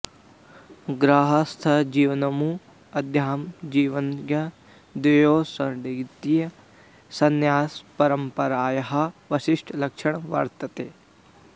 गार्हस्थ्यजीवनम् अध्यात्मजीवनञ्च द्वयोः सङ्गतिः संन्यासपरम्परायाः विशिष्टं लक्षणं वर्तते